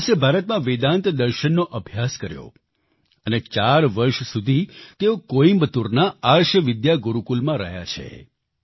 જોનસે ભારતમાં વેદાન્ત દર્શનનો અભ્યાસ કર્યો અને 4 વર્ષ સુધી તેઓ કોઈમ્બતુરના આર્ષ વિદ્યા ગુરુકુલમમાં રહ્યા છે